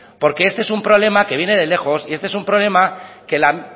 porque este es un problema que viene de lejos y este es un problema que la